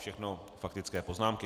Všechno faktické poznámky.